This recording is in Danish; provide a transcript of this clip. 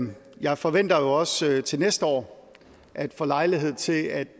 jeg forventer jo også til næste år at få lejlighed til at